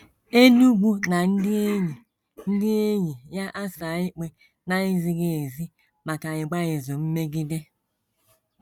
Enugu na ndị enyi ndị enyi ya asaa ikpe na - ezighị ezi maka ịgba izu mmegide.